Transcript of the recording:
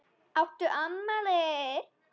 Áttu afmæli?